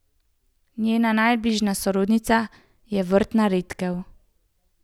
Njena najbližja sorodnica je vrtna redkev.